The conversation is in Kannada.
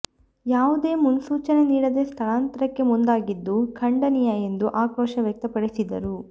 ಯಾವುದೇ ಮುನ್ಸೂಚನೆ ನೀಡದೇ ಸ್ಥಳಾಂತರಕ್ಕೆ ಮುಂದಾಗಿದ್ದು ಖಂಡನೀಯ ಎಂದು ಆಕ್ರೋಶ ವ್ಯಕ್ತಪಡಿಸಿದರು